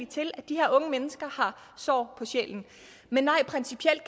til at de her unge mennesker har sår på sjælen men nej principielt